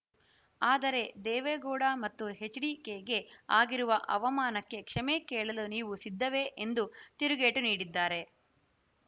ಆದರೆ ದೇವೇಗೌಡ ಮತ್ತು ಎಚ್‌ಡಿಕೆಗೆ ಆಗಿರುವ ಅವಮಾನಕ್ಕೆ ಕ್ಷಮೆ ಕೇಳಲು ನೀವು ಸಿದ್ಧವೇ ಎಂದು ತಿರುಗೇಟು ನೀಡಿದ್ದಾರೆ